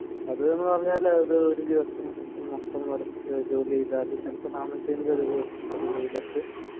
അത് എന്ന് പറഞ്ഞാല് അത് ഒരു ദിവസം മൊത്തം വർക്ക് ജോലി ചെയ്താല് ചിലപ്പോ നാന്നൂറ്റി അമ്പത് രൂപ കിട്ടും അതും വെയിലത്ത്